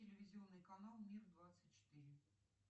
телевизионный канал мир двадцать четыре